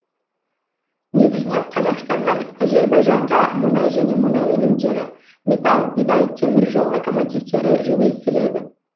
негізінен қазақстаннан әзербайжанға мұнай және мұнай өнімдері металл бидай теміржол локомотивтері жөнелтіледі